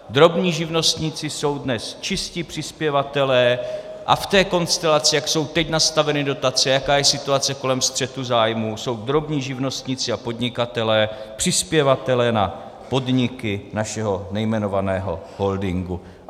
Drobní živnostníci jsou dnes čistí přispěvatelé a v té konstelaci, jak jsou teď nastaveny dotace, jaká je situace kolem střetu zájmů, jsou drobní živnostníci a podnikatelé přispěvateli na podniky našeho nejmenovaného holdingu.